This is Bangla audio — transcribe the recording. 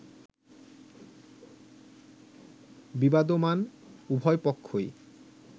বিবাদমান উভয়পক্ষই